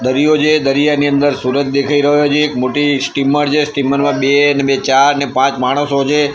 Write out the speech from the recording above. દરિયો છે દરિયાની અંદર સુરજ દેખાય રહ્યો છે એક મોટી સ્ટીમર છે સ્ટીમર માં બે ને બે ચાર ને પાંચ માણસો છે.